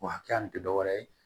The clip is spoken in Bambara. O hakɛya nin te dɔwɛrɛ ye